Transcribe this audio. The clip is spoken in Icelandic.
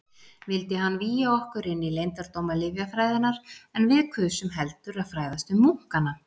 Vildi hann vígja okkur inní leyndardóma lyfjafræðinnar, en við kusum heldur að fræðast um munkana.